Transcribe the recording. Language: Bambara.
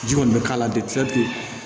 Ji kɔni bɛ k'a la ten